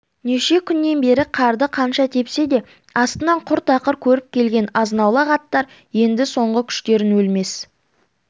неше күннен бері қарды қанша тепсе де астынан құр тақыр көріп келген азынаулақ аттар енді соңғы күштерін өлмес